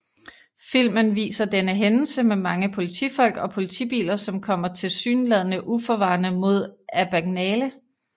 Filmen viser denne hændelse med mange politifolk og politibiler som kommer tilsyneladende uforvarende mod Abagnale